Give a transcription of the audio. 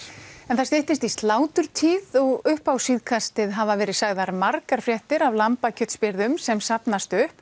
það styttist í sláturtíð og upp á síðkastið hafa verið sagðar margar fréttir af sem safnast upp